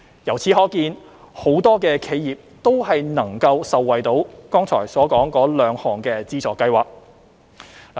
由此可見，很多企業都能受惠於剛才所說的兩項資助計劃。